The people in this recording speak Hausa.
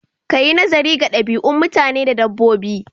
Kayi naziri ga ɗabi'u mutane da dabbobi